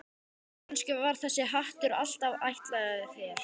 Kannski var þessi hattur alltaf ætlaður þér.